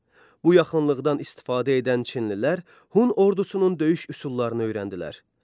Bu yaxınlıqdan istifadə edən Çinlilər Hun ordusunun döyüş üsullarını öyrəndilər.